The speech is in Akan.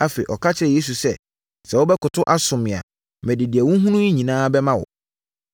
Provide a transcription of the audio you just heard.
Afei, ɔka kyerɛɛ Yesu sɛ, “Sɛ wobɛkoto asom me a, mede deɛ wohunu yi nyinaa bɛma wo.”